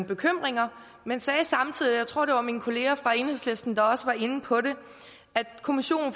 bekymringer men sagde samtidig jeg tror det var mine kolleger fra enhedslisten der også var inde på det at kommissionen